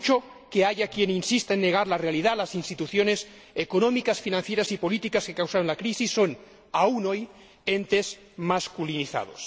Por mucho que haya quien insista en negar la realidad, las instituciones económicas, financieras y políticas que causaron la crisis son, aún hoy, entes masculinizados.